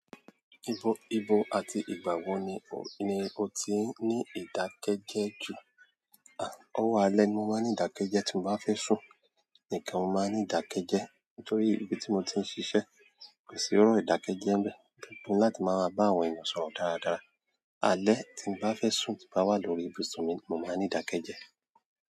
Ibò àti ìgbà wo ni o ti ní ìdákẹ́jẹ́ jù? Owó alẹ́ ni mo máa ń ní ìdákẹ́jẹ́ tí mo bá fẹ́ sùn. Nìkan mo máa ń ní ìdákẹ́jẹ́. Nítorí ibi tí mo ti ń ṣiṣẹ́ kò sí erọ́ ìdákẹ́jẹ́ ńbẹ. Mo ni láti máa bá àwọn ènìyàn sọ̀rọ̀ dáradára. Alẹ́ tí mo bá fẹ́ sùn tí n bá wá lórí ìbùsùn mi ni mo máa ń ní ìdákẹ́jẹ́.